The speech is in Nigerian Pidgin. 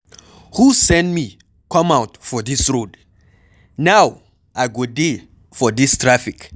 Who send me come out for dis road? Now I go dey for dis traffic.